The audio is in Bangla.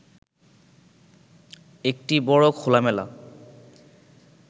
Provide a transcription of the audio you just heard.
একটি বড় খোলামেলা